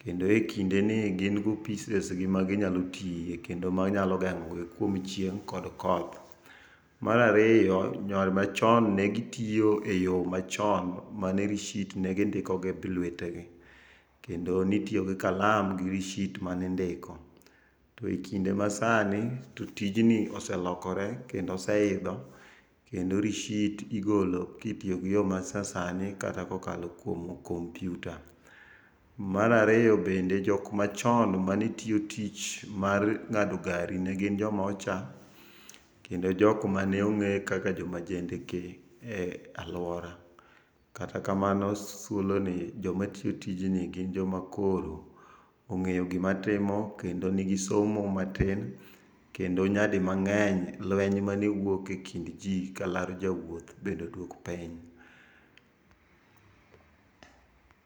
kendo e kindeni gin gi opises gi maginyalo tie, kendo manyalo geng'ogi kuom chieng' kod koth. Marariyo machon negitio e yoo machon mane rishit negindiko gi lwetegi, kendo nitio gi kalam gi rishit manindiko. To ekinde masani to tijni oselokore kendo oseidho, kendo rishit igolo kitiogi yoo masasani kata kokalo kuom kompyuta. Marariyo bende jok machon manetio tich mar ng'ado gari ne gin joma ocha, kendo jokmane ong'ee kaka joma jendeke e alwora. Kata kamano s thuolo ni, joma tiyo tijni gin joma koro ong'eyo gima timo kendo nigi somo matin, kendo nyadii mang'eny lweny mane wuok e kind jii kalaro jawuoth bende oduok piny.